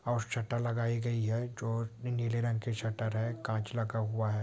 Hotstar लगाई गई है जो नीले रंग के स्वेटर है कांच लगा हुआ है।